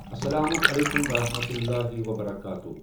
اَسَلامُ عَلیٚکُم وَرَحمَتُللٰہِ وَبَرَکاتُہوٗ۔